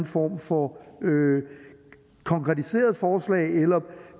form for konkretiseret forslag eller